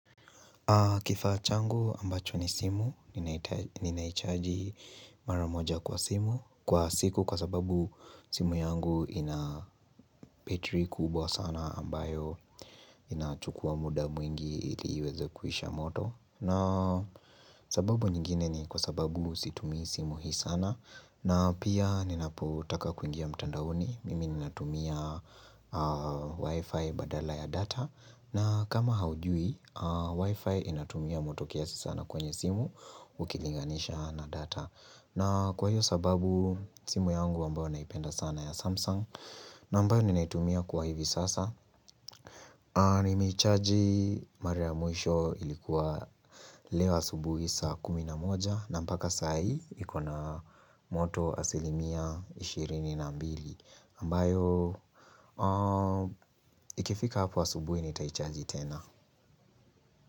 Kifaa changu ambacho ni simu ninaichaji mara moja kwa simu kwa siku kwa sababu simu yangu ina betri kubwa sana ambayo inachukua muda mwingi ili iweze kuisha moto na sababu nyingine ni kwa sababu situmii simu hii sana na pia ninapotaka kuingia mtandaoni mimi ninatumia wifi badala ya data na kama haujui wifi inatumia moto kiasi sana kwenye simu ukilinganisha na data na kwa hiyo sababu simu yangu ambayo naipenda sana ya samsung na ambayo ninaitumia kwa hivi sasa nimeichaji mara ya mwisho ilikuwa leo asubuhi saa kumi na moja na mpaka saa hii iko na moto asilimia 22 ambayo ikifika hapo asubuhi nitaichaji tena.